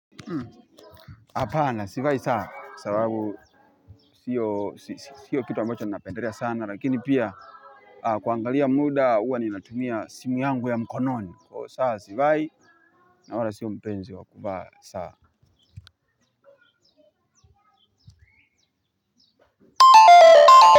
Hapana sivai saa sababu sio kitu ambacho napendelea sana lakini pia kuangalia muda huwa ninatumia simu yangu ya mkononi kwa hiyo saa sivai. Nawala sio mpenzi wa kuvaa saa.